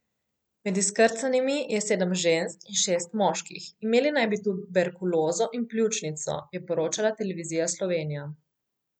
Med izkrcanimi je sedem žensk in šest moških, imeli naj bi tuberkulozo in pljučnico, je poročala Televizija Slovenija.